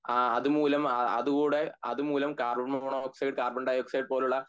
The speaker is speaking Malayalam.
അഹ് അത് മുല അ ആ അതുകൂടെ അതുമൂലം carbon monoxide carbon dioxide പോലുള്ള